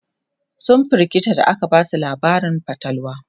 sun firgita da aka Basu labarin fatalwa